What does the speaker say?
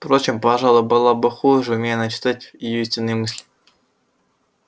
впрочем пожалуй было бы хуже умей она читать её истинные мысли